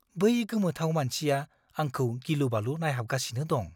बै गोमोथाव मानसिया आंखौ गिलुबालु नायहाबगासिनो दं।